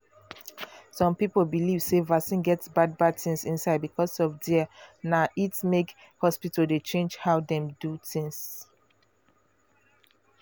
some people believe sey vaccine get bad bad things inside because of their na it make hospital dey change how dem do things.